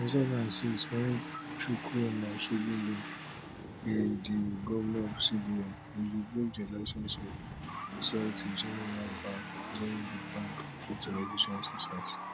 in two thousand and six wen chukwuma soludo be di govnor of cbn e revoke di licence of society generale bank during di bank recapitalisation exercise